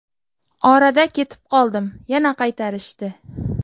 Orada ketib qoldim, yana qaytarishdi.